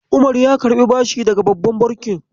Umar ya karɓi bashi daga babban banki.